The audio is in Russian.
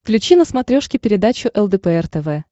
включи на смотрешке передачу лдпр тв